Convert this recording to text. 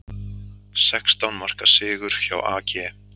Sextán marka sigur hjá AG